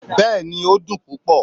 Bẹ́ẹ̀ni, o dun pupọ